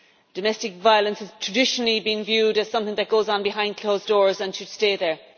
Domestic violence has traditionally been viewed as something that goes on behind closed doors and should stay there.